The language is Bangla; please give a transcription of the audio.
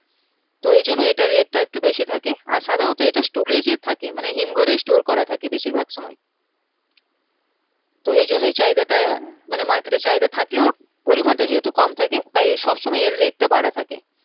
তো এইজন্য এটা rate টা একটু বেশি থাকে আর সাধারণত এটা storage এ থাকে মানে হিমঘরে store করা থাকে বেশির ভাগ সময় তো এইজন্যই চাহিদা টা হ্যাঁ মানে market এ চাহিদা থাকলেও পরিমানটা যেহেতু কম থাকে তাই সবসময় এর rate টা বাড়া থাকে